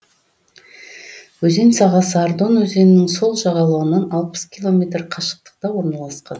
өзен сағасы ардон өзенінің сол жағалауынан алпыс километр қашықтықта орналасқан